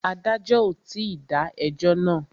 Adájọ́ ò tí dá ẹjọ́ náà.